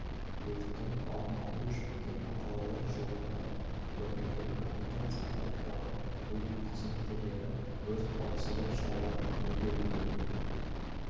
өрттің алдын алу жөнінде мақалалар жолданады көрнекілік агитация таратылады ұйым қызметкерлері өрт қауіпсіздігі шараларын меңгеруге